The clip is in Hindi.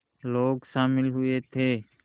लोग शामिल हुए थे